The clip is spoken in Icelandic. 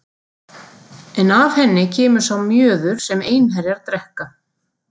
En af henni kemur sá mjöður sem einherjar drekka.